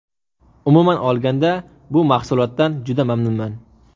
Umuman olganda bu mahsulotdan juda mamnunman.